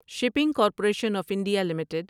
shipping corporation of India limited